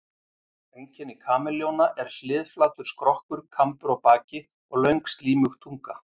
Einkenni kameljóna eru hliðflatur skrokkur, kambur á baki og löng, slímug tunga.